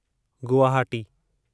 Guwahati